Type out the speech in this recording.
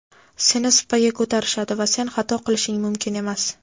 seni supaga ko‘tarishadi va sen xato qilishing mumkin emas.